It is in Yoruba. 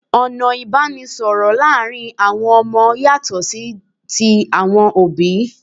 Ọ̀nà ìbánisọ̀rọ̀ láàrin àwon ọmọ yàtọ̀ sí ti àwọn òbí